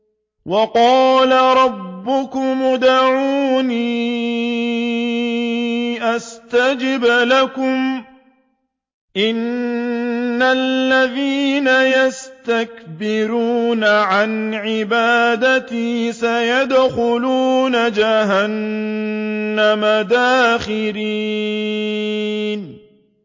وَقَالَ رَبُّكُمُ ادْعُونِي أَسْتَجِبْ لَكُمْ ۚ إِنَّ الَّذِينَ يَسْتَكْبِرُونَ عَنْ عِبَادَتِي سَيَدْخُلُونَ جَهَنَّمَ دَاخِرِينَ